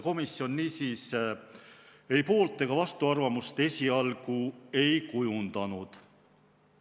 Komisjon poolt- ega vastuarvamust esialgu ei kujundanud.